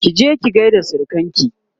kije ki gaida surukanki!